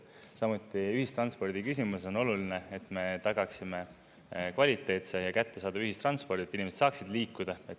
Samuti ühistranspordiküsimus on oluline, et me tagaksime kvaliteetse ja kättesaadava ühistranspordi, et inimesed saaksid liikuda.